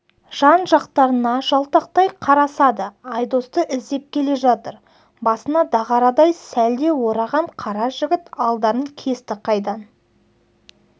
жан-жақтарына жалтақтай қарасады айдосты іздеп келе жатыр басына дағарадай сәлде ораған қара жігіт алдарын кесті қайдан